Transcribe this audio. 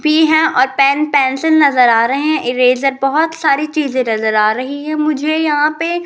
P है और pen pencil नजर आ रहे हैं इरेजर बहुत सारी चीज नजर आ रही है मुझे यहां पे --